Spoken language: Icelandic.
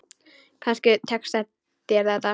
Kannski tekst þér þetta.